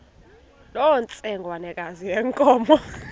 loo ntsengwanekazi yenkomo